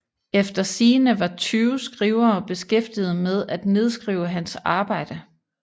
Efter sigende var tyve skrivere beskæftiget med at nedskrive hans arbejde